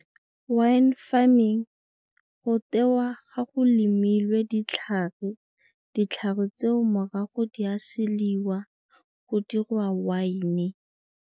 Wine farming go tewa ga go lemilwe ditlhare, ditlhare tseo morago di a seliwa go diriwa wine.